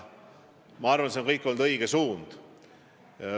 Ma arvan, et see on olnud õige suund.